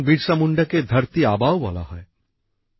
ভগবান বিরসা মুন্ডাকে ধরতি আবাও বলা হয়